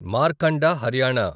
Markanda Haryana